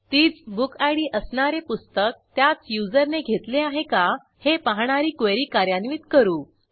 तीच बुकिड असणारे पुस्तक त्याच युजरने घेतले आहे का हे पाहणारी क्वेरी कार्यान्वित करू